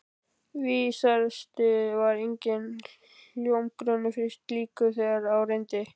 Vísast var enginn hljómgrunnur fyrir slíku, þegar á reyndi.